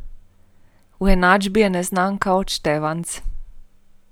V enačbi je neznanka odštevanec.